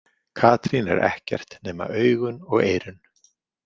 Katrín er ekkert nema augun og eyrun.